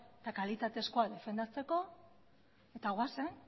eta kalitatezkoa defendatzeko eta goazen